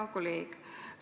Hea kolleeg!